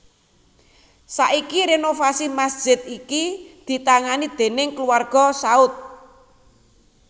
Saiki renovasi masjid iki ditangani déning kulawarga Saud